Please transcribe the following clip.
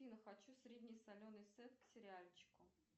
афина хочу средне соленый сед к сериальчику